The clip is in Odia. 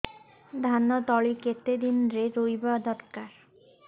ଧାନ ତଳି କେତେ ଦିନରେ ରୋଈବା ଦରକାର